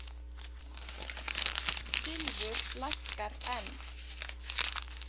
Silfur lækkar enn